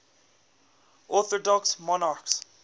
orthodox monarchs